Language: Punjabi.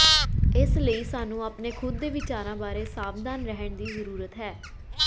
ਇਸ ਲਈ ਸਾਨੂੰ ਆਪਣੇ ਖੁਦ ਦੇ ਵਿਚਾਰਾਂ ਬਾਰੇ ਸਾਵਧਾਨ ਰਹਿਣ ਦੀ ਜ਼ਰੂਰਤ ਹੈ